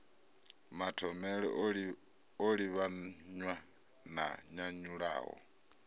mathomele o livhanywa na nyanyulaho